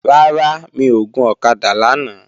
Rárá, mi ò gun ọ̀kadà lánàá